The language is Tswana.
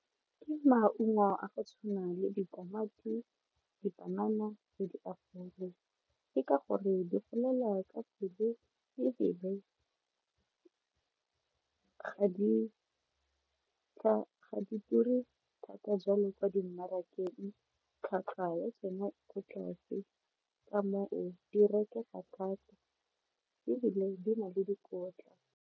Ke maungo a go tshwana le ditamati dipanana le ke ka gore di golela ka pele ebile ga di ture thata jalo kwa dimarakeng tlhwatlhwa ya tsona e ko tlase ka moo di rekega thata ebile di na le dikotla.